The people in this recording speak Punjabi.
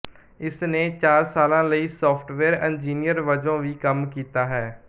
ਇਸਨੇ ਚਾਰ ਸਾਲਾਂ ਲਈ ਸਾਫਟਵੇਅਰ ਇੰਜੀਨੀਅਰ ਵਜੋਂ ਵੀ ਕੰਮ ਕੀਤਾ ਹੈ